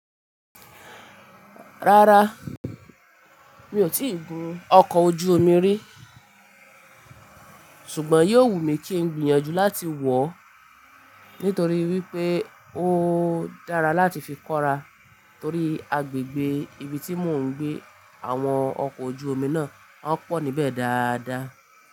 Rárá, mi ò tíì gun ọkọ̀ ojú omi rí, ṣùgbọ́n yóò wù mí kí ń gbìyànjú láti wọ̀ ọ́ nítorí wípé ó dára láti fi kọra torí agbègbè ibi tí mò ń gbé àwọn ọkọ̀ ojú omi náà wọn pọ̀ níbẹ̀ dáadáa.